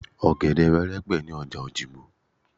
Ọ̀gẹ̀dè wẹ́rẹ́ pọ̀ ní ọjà Òyìgbò